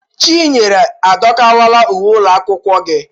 Chinyere, adọkakwala uwe ụlọ akwụkwọ gị!